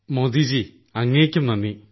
മോദിജീ അങ്ങേയ്ക്കും നന്ദി